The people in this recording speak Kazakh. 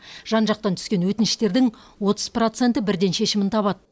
жан жақтан түскен өтініштердің отыз проценті бірден шешімін табады